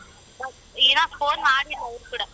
ಇನ್ನ phone ಮಾಡಿಲ್ಲ ಅವ್ರು ಕೂಡ.